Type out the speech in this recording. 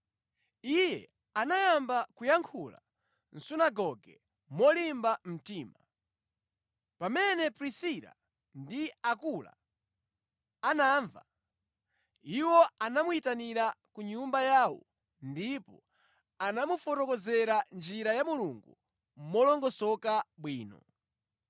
Iye anayamba kuyankhula mʼsunagoge molimba mtima. Pamene Prisila ndi Akula anamva, iwo anamuyitanira ku nyumba yawo ndipo anamufotokozera njira ya Mulungu molongosoka bwino.